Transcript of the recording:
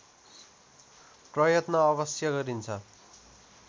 प्रयत्न अवश्य गरिन्छ